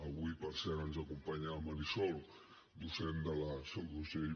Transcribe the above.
avui per cert ens acompanya la marisol docent de la seu d’urgell